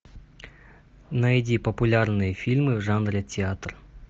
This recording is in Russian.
найди популярные фильмы в жанре театр